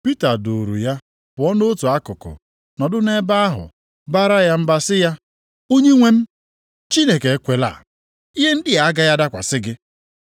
Pita duuru ya pụọ nʼotu akụkụ, nọdụ nʼebe ahụ baara ya mba sị ya, “Onyenwe m, Chineke ekwela. Ihe ndị a agaghị adakwasị gị!”